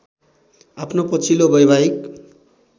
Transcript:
आफ्नो पछिल्लो वैवाहिक